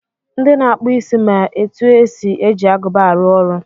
Ndị na-akpụ isi ma etu esi eji agụba arụ ọrụ.